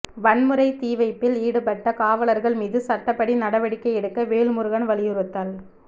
வன்முறை தீவைப்பில் ஈடுபட்ட காவலர்கள் மீது சட்டப்படி நடவடிக்கை எடுக்க வேல்முருகன் வலியுறுத்தல்